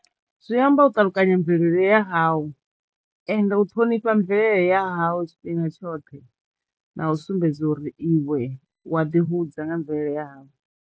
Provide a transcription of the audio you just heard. Zwi amba u ṱalukanya mvelele ya hawu ende u ṱhonipha mvele hawu tshifhinga tshoṱhe na u sumbedza uri iwe u wa ḓi hudza nga mvelele ya hawu.